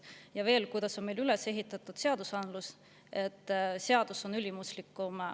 Ja veel, seadusandlus on meil üles ehitatud niimoodi, et seadus on määrusest ülimuslikum.